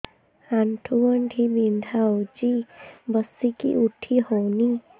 ଆଣ୍ଠୁ ଗଣ୍ଠି ବିନ୍ଧା ହଉଚି ବସିକି ଉଠି ହଉନି